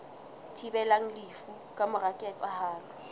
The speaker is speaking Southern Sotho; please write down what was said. thibelang lefu ka mora ketsahalo